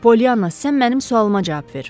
Polyanna, sən mənim sualıma cavab ver!